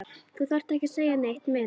Þú þarft ekki að segja neitt meira